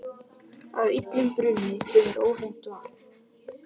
Af illum brunni kemur óhreint vatn.